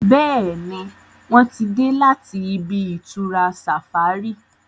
Béèni wón tí dé láti ibi-itura safari.